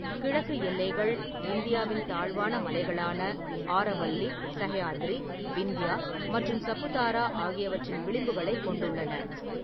கிழக்கு எல்லைகள் இந்தியாவின் தாழ்வான மலைகளான ஆரவல்லி, சஹ்யாத்ரி, விந்தியா மற்றும் சபுதாரா ஆகியவற்றின் விளிம்புகளைக் கொண்டுள்ளன.